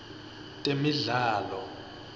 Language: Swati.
temidlalo